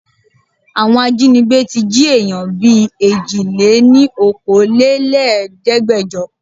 Àwọn ajínígbé tí jí èèyàn bìí Èjìléníokòóléníẹ̀ẹ́dẹ́gbẹjo.